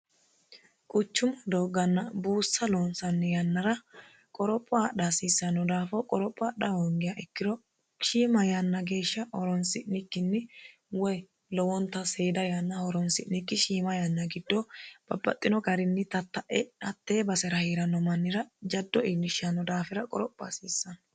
quchumu doogganna buussa loonsanni yannara qoropho adha hasiissanno daafo qoropho adha hoongiha ikkiro shiima yanna geeshsha horonsi'nikkinni woy lowonta seeda yanna horonsi'nikki shiima yanna giddo babbaxxino garinni tatta'e hattee basera heeranno mannira jaddo iillishshanno daafira qoropho hasiissanno